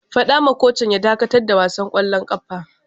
Fada wa kocin ya dakatar da wasan kwallon kafa!